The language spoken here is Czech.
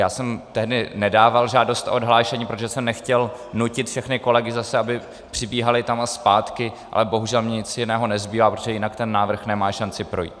Já jsem tehdy nedával žádost o odhlášení, protože jsem nechtěl nutit všechny kolegy zase, aby přibíhali tam a zpátky, ale bohužel mně nic jiného nezbývá, protože jinak ten návrh nemá šanci projít.